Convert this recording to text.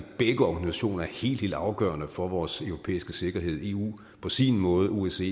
organisationer er helt helt afgørende for vores europæiske sikkerhed eu på sin måde osce